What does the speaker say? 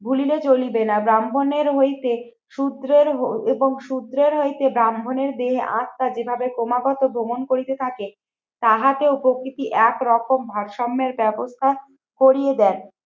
ভুলিলে চলিবে না। ব্রাহ্মণের হইতে শুদ্রের এবং শুদ্রের হইতে ব্রাহ্মণের দেহে আত্মা যেভাবে ক্রমাগত ভ্রমন করিতে থাকে তাহাতে উপকৃতি একরকম ভারসাম্যের ব্যবস্থা করিয়ে দেন।